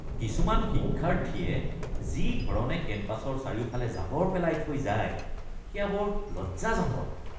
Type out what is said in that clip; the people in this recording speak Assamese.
কিছুমান শিক্ষাৰ্থীয়ে যি ধৰণে কেম্পাছৰ চাৰিওফালে জাবৰ পেলাই থৈ যায় সেয়া বৰ লজ্জাজনক।